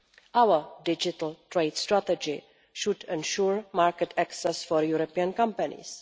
Our digital trade strategy should ensure market access for European companies.